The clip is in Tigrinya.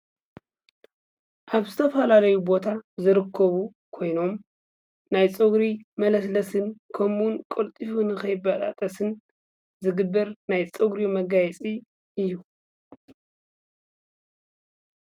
ኣብ ዝተፈላለዩ ቦታ ዝርከቡ ኮይኖም ናይ ፀጉሪ መለስለስን ከምኡ ውን ቀልጢፉ ንከይበጣጠስን ዝግበር ናይ ፀጉሪ መጋየፂ እዩ።